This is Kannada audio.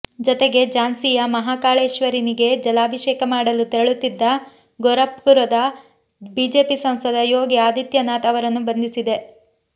ಜತೆಗೆ ಝಾನ್ಸಿಯ ಮಹಾ ಕಾಳೇಶ್ವರನಿಗೆ ಜಲಾಭಿಷೇಕ ಮಾಡಲು ತೆರಳುತ್ತಿದ್ದ ಗೋರಖ್ಪುರದ ಬಿಜೆಪಿ ಸಂಸದ ಯೋಗಿ ಆದಿತ್ಯನಾಥ್ ಅವರನ್ನು ಬಂಧಿಸಿದೆ